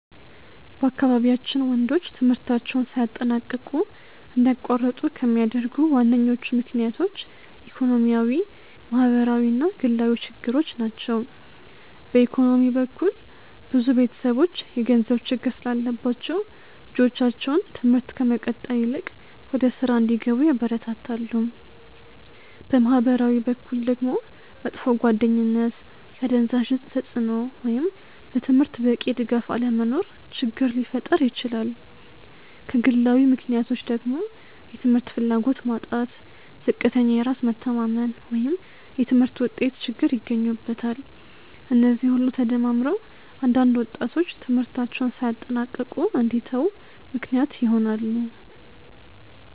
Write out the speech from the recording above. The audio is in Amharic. በአካባቢያችን ወንዶች ትምህርታቸውን ሳያጠናቅቁ እንዲያቋርጡ ከሚያደርጉ ዋነኞቹ ምክንያቶች ኢኮኖሚያዊ፣ ማህበራዊ እና ግላዊ ችግሮች ናቸው። በኢኮኖሚ በኩል ብዙ ቤተሰቦች የገንዘብ ችግር ስላለባቸው ልጆቻቸው ትምህርት ከመቀጠል ይልቅ ወደ ሥራ እንዲገቡ ያበረታታሉ። በማህበራዊ በኩል ደግሞ መጥፎ ጓደኝነት፣ የአደንዛዥ እፅ ተጽእኖ ወይም ለትምህርት በቂ ድጋፍ አለመኖር ችግር ሊፈጥር ይችላል። ከግላዊ ምክንያቶች ደግሞ የትምህርት ፍላጎት ማጣት፣ ዝቅተኛ የራስ መተማመን ወይም የትምህርት ውጤት ችግር ይገኙበታል። እነዚህ ሁሉ ተደማምረው አንዳንድ ወጣቶች ትምህርታቸውን ሳያጠናቅቁ እንዲተዉ ምክንያት ይሆናሉ።